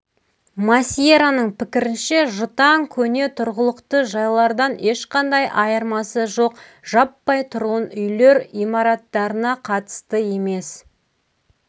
масиероның пікірінше жұтаң көне тұрғылықты жайлардан ешқандай айырмасы жоқ жаппай тұрғын үйлер имараттарына қатысты емес